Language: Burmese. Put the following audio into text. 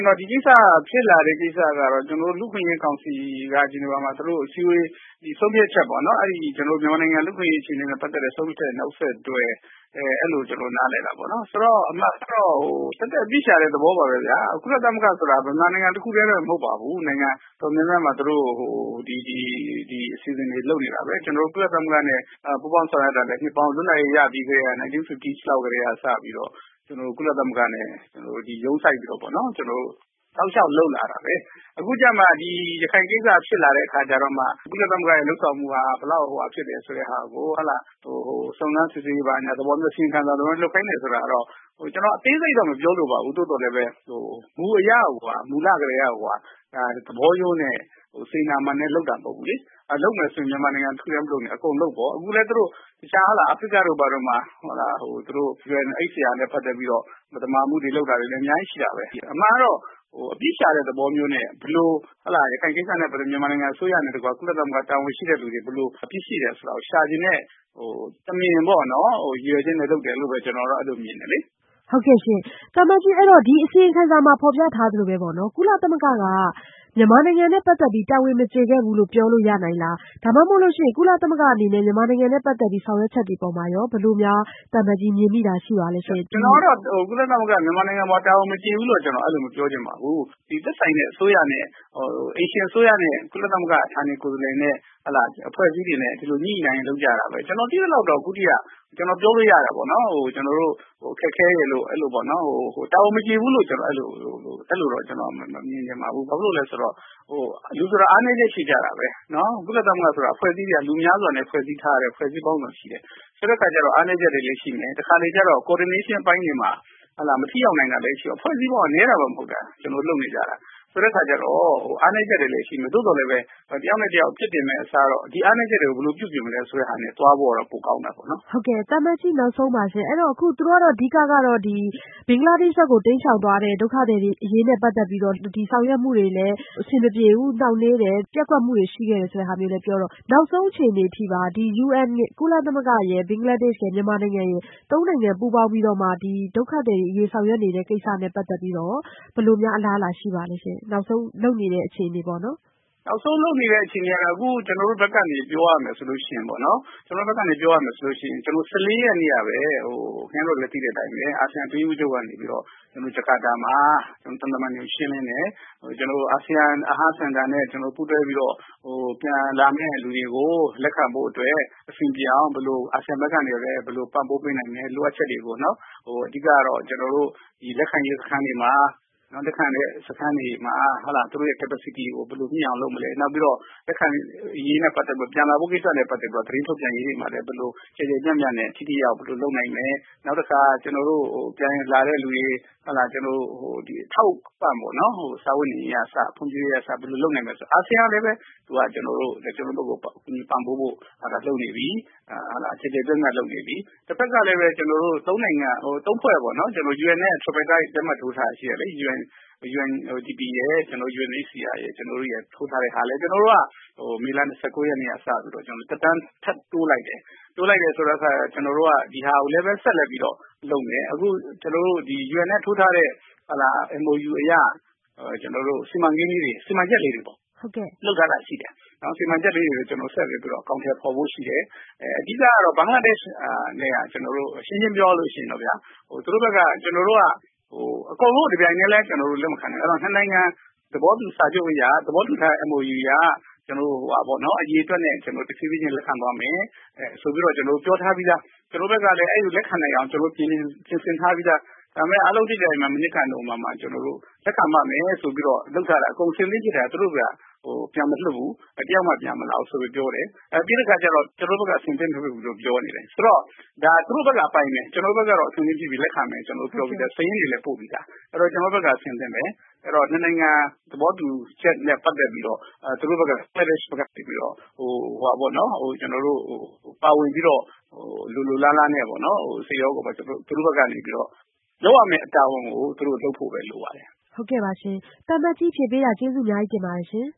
င်တော့ ဒီကိစ္စက ဖြစ်လာတာကတော့ ကျနော်တို့ လူ့အခွင့်အရေးကောင်စီက သူတို့ဆုံးဖြတ်ချက်ပေါ့နော် အဲဒီ ကျနော်တို့ မြန်မာနိုင်ငံလူ့အခွင့်အရေးအခြေအနေနဲ့ ပတ်သက်တဲ့ ဆုံးဖြတ်ချက်ရဲ့ နောက်ဆက်တွဲ အဲလိုကျနော်နားလည်တာပေါေ့နာ်။ ဆိုတော့ အမှန်ကတော့ သက်သက်အပြစ်ရှာတဲ့ သဘောပါပဲခင်ဗျ။ ကုလသမဂ္ဂ ဆိုတာက မြန်မာနိုင်ငံတခုတည်းအတွက်မဟုတ်ပါဘူး။ နိုင်ငံတော်တော်များများမှာ သူတို့ ဒီအစီအစဉ်တွေလုပ်နေတာပဲ။ ကျနော်တို့ ကုလသမဂ္ဂနဲ့ ပူးပေါင်းဆောင်ရွက်တာလည်း လွတ်လပ်ရေးရပြီးကတည်းက ၁၉၅၀ လောက်ကတည်းက စပြီးတော့ ကုလသမဂ္ဂရုံးစိုက်ပြီးတော့ တောက်လျောက်လုပ်လာတာပါပဲ။ အခုကျမှ ရခိုင်ကိစ္စဖြစ်လာတဲ့အခါကျမှ ကုလသမဂ္ဂလုပ်ဆောင်မှုက ဘယ်လောက်ဖြစ်တယ်ဆိုတာကို စုံစမ်းစစ်ဆေးရေး အစီရင်ခံစာ သဘောမျိုးလုပ်ခိုင်းတယ်ဆိုတာကတော့ ကျနော်အသေးစိတ်တော့မပြောလိုပါဘူး သို့သော် မူအရ မူလကတည်းက သဘောရိုးနဲ့ စေတနာမှန်နဲ့ လုပ်တာမဟုတ်ဘူးလေ။ လုပ်မယ်ဆိုရင် မြန်မာနိုင်ငံတခုတည်းမလုပ်နဲ့ အကုန်လုပ်ပေါ့။ အခုလည်း အာဖရိကတို့မှာ UNHCR နဲ့ ပတ်သက်ပြီး မသမာမှုတွေလုပ်တာတွေလည်း အများကြီးရှိတာပဲ။ အမှန်ကတော့ အပြစ်ရှာတဲ့သဘောမျိုးနဲ့ ရခိုင်ကိစ္စနဲ့ ပတ်သက်ပြီးတော့ မြန်မာနိုင်ငံအစိုးရနဲ့တကွ ကုလတာဝန်ရှိသူတွေ ဘယ်လိုအပြစ်ရှိတယ်ဆိုတာကို ရှာချင်တဲ့ တမင်ရည်ရွယ်ချက်နဲ့လုပ်တယ်လို့ပဲ ကျနော်အဲလိုမြင်တယ်လေ။ ဟုတ်ကဲ့ရှင် သံအမတ်ကြီး ဒီအစီရင်ခံမှာ ဖော်ပြထားသလိုပေါ့နော်။ ကုလသမဂ္ဂဟာ မြန်မာနိုင်ငံနဲ့ပတ်သက်ပြီး တာဝန်မကျေခဲ့ဘူးလို့ ပြောလို့ရနိုင်သလား။ ဒါမှမဟုတ်လို့ရှိရင် ကုလသမဂ္ဂရဲ့ မြန်မာနိုင်ငံအပေါ် ဆောင်ရွက်ချက်တွေအပေါ်မှာရော သံအမတ်ကြီးအနေနဲ့ ဘယ်လိုမြင်မိပါသလဲရှင့်။ ကျနော်ကတော့ ကုလသမဂ္ဂ မြန်မာနိုင်ငံအပေါ် တာဝန်မကျေခဲ့ဘူးလို့တော့မပြောချင်ပါဘူး။ ဒီအိမ်ရှင်အစိုးရနဲ့ ကုလသမဂ္ဂ ဌာနကိုယ်စားလှယ်နဲ့ အဖွဲ့အစည်းတွေနဲ့ သူတို့ ညှိညှိနှိုင်းနှိုင်းလုပ်တာပဲ။ ကျနော်သိသလောက်ကတော့ အခုအထိက ကျနော်ပြောလို့ရတာပေါ့နော် ခက်ခဲတယ်လို့ပေါ့နော်။တာဝန်မကျေဘူးလို့တော့ ကျနော်အဲလိုမမြင်ပါဘူး။ ဘာဖြစ်လို့လဲဆိုတော့ လူဆိုတာ အားနည်းချက်ရှိကြတာပါပဲ။ ကုလသမဂ္ဂဆိုတာ လူများစွာနဲ့ဖွဲ့စည်းထားတဲ့ အဖွဲ့အစည်း ပေါင်းစုံရှိတယ်။ ဆိုတော့ အားနည်းချက်တွေလည်းရှိမယ် တခါတလေကျတော့ coordination အပိုင်းတွေမှာ မထိရောက်နိုင်တာလည်းရှိမယ်။ ဖွဲ့စည်းပုံက နည်းတာမှမဟုတ်တာ ကျနော်တို့ လုပ်နေကြတာ။ ဆိုတဲ့အခါကျတော့ အားနည်းချက်တွေလည်းရှိမယ် သို့သော်လည်း တယောက်နဲ့တယောက် အပြစ်တင်မယ့်အစားတော့ ဒီအားနည်းချက်တွေကို ဘယ်လိုပြုပြင်မလဲဆိုတာနဲ့ သွားဖို့တော့ ပိုကောင်းတာပေါ့နော်။ ဟုတ်ကဲ့ အခု ဘင်္ဂလားဒေ့ရှ်နိုင်ငံ ဘက် တိမ်းရှောင်သွားတဲ့ ဒုက္ခသည်တွေအရေးနဲ့ပတ်သက်ပြီးတော့ အဆင်မပြေဘူး နှောင့်နှေးတယ်။ ပျက်ကွက်မှုတွေ ရှိနေတယ်ဆိုတာကိုလည်း ပြောထားတော့ နောက်ဆုံးအခြေအနေပေါ့နော် ဒီ ကုလသမဂ္ဂရယ် ဘင်္ဂလားဒေ့ရှ်ရယ် မြန်မာနိုင်ငံရယ် ဒီသုံးဖွဲ့ပူးပေါင်းပြီးတော့ ဒီဒုက္ခသည်အရေး ဆောင်ရွက်မှုတွေရဲ့ နောက်ဆုံးက ဘယ်လိုအလားအလာရှိပါသလဲရှင်။ နောက်ဆုံးလုပ်နေတဲ့ အခြေအနေကတော့ ကျနော်တို့ဘက်ကနေ ပြောရမယ်ဆိုရင် ကျနော်တို့ ၁၄ ရက်နေ့ကပဲ အာဆီယံအတွင်းရေးမှူးချုပ်ကနေပြီးတော့ Jakarta မှာ သံတမန်တွေကို ရှင်းလင်းတယ်။ ကျနော်တို့ အာဆီယံစင်တာနဲ့ ပူးတွဲပြီးတော့ ပြန်လာမယ့်လူတွေကို လက်ခံဖို့အတွက် အာဆီယံ ဘက်ကနေလည်း ဘယ်လိုပံ့ပိုးပေးနိုင်မလဲ လိုအပ်ချက်တွေပေါ့နော် အဓိကတော့ ကျနော်တို့ ဒီလက်ခံရေးစခန်းတွေမှာ သူတို့ capacity ကို ဘယ်လိုမြှင့်အောင်လုပ်မလဲ။ နောက်ပြီးတော့ လက်ခံရေးနဲ့ ပတ်သက်ပြီးတော့ ပြန်ဖို့ကိစ္စနဲ့ ပတ်သက်ပြီးတော့ သတင်းထုတ်ပြန်ရေးတွေမှာလည်း ဘယ်လိုကျယ်ကျယ်ပြန့်ပြန့်နဲ့ ထိထိရောက်ရောက်ဘယ်လိုလုပ်နိုင်မလဲ။ နောက်တခါ ပြန်လာတဲ့လူတွေ ဒီအထောက်အပံ့ပေါ့နော် စားဝတ်နေရေးကအစ ဖွံ့ဖြိုးရေးကအစ လုပ်နိုင်မယ်ဆိုရင် ။ အာဆီယံကလည်း ကျနော်တို့ကို ကူညီပံ့ပိုးဖို့လုပ်နေပြီ တဖက်ကလည်း ကျနော်တို့ ၃ ဖွဲ့ပေါ့နော် UN နဲ့ လက်မှတ်ထိုးထားတာရှိတယ်လေ UNDP ရယ်၊ UNHCR ရယ် ကျနော်တို့ရယ် ထိုးထားတဲ့ဟာလည်း ကျနော်တို့ မေလ ၂၉ ရက်နေ့ကနေစပြီးတော့ သက်တမ်းထက်တိုးလိုက်တယ်။ တိုးလိုက်တယ်ဆိုတဲ့အခါ ကျနော်တို့က ဒီဟာလည်း ဆက်လက်လုပ်မယ် အခုကျနော်တို့ UN နဲ့ ထိုးထားတဲ့ MOU အရ ကျနော်တို့ စီမံချက်လေးတွေပေါ့ လုပ်ထားတာရှိတယ် ဒါတွေကို ဆက်လက်ပြီးအကောင်အထည်ဖော်ဖို့ရှိတယ် အဓိကတော့ ဘင်္ဂလားဒေ့ရှ်နဲ့က ကျနော်တို့ ရှင်းရှင်းပြောရရင် ကျနော်တို့က အကုန်လုံးကို တပြိုင်တည်းလည်း လက်မခံနိုင်ဘူး။ အဲဒီတော့ ၂ နိုင်ငံ သဘောတူစာချုပ်အရ သဘောတူထားတဲ့ MOU အရ ကျနော်တို့ အရေအတွက်နဲ့ တဖြေးဖြေးချင်း ကျနော်တို့ လက်ခံသွားမယ်။ဆိုပြီးတော့ ကျနော်တို့ ပြောထားပြီးသား ကျနော်တို့ဘက်ကလည်း အဲဒီလိုလက်ခံနိုင်အောင် ပြင်ဆင်ထားပြီးသား။ ဒါပေမယ့် အားလုံးသိတဲ့အတိုင်း မနှစ်က နိုဝင်ဘာမှာ လက်ခံပါ့မယ်ဆိုပြီးတော့ အကုန်အဆင်သင့်ဖြစ်ထားတာ သူတို့ဘက်က ပြန်မလွှတ်ဘူး တယောက်မှ ပြန်မလာဘူးပြောတယ်။ ပြီးတဲ့အခါကျတော့ ကျနော်တို့ဘက်က အဆင်သင့်မဖြစ်ဘူးလို့ပြောတယ်။ ဆိုတော့ သူတို့ဘက်ကအပိုင်းပဲ ကျနော်တို့ဘက်ကတော့ အဆင်သင့်ဖြစ်ပြီးလက်ခံမယ်လို့ ကျနော်တို့ပြောပြီးသား စာရင်းတွေလည်း ပို့ပြီးသား အဲဒီတော့ ကျနော်တို့ဘက်က အဆင်သင့်ပဲ အဲဒီတော့ နှစ်နိုင်ငံ သဘောတူချက်နဲ့ ပတ်သက်ပြီးတော့ ဘင်္ဂလားဒေ့ရှ်ဘက်ကနေပြီးတော့ ပါဝင်ပြီးတော့ လိုလိုလားလားနဲ့ စိတ်ရောကိုယ်ပါ သူ့တို့ဘက်ကနေပြီးတော့ လုပ်ရမယ့်တာဝန်ကို သူတို့လုပ်ဖို့ပဲလိုပါတယ်။ သံအမတ်ကြီးဖြေပေးတာ ကျေးဇူးအများကြီးတင်ပါတယ်ရှင်